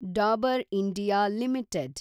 Dabur India limited